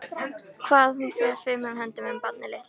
Hvað hún fer fimum höndum um barnið litla.